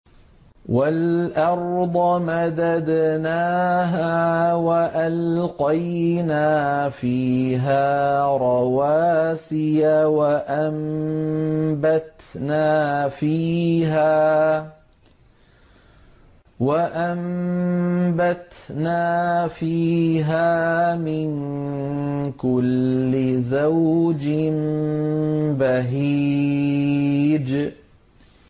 وَالْأَرْضَ مَدَدْنَاهَا وَأَلْقَيْنَا فِيهَا رَوَاسِيَ وَأَنبَتْنَا فِيهَا مِن كُلِّ زَوْجٍ بَهِيجٍ